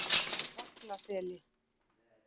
Vaglaseli